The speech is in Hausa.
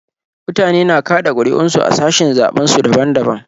Mutane na kaɗa ƙuri'un su a sashin zaɓen su daban daban.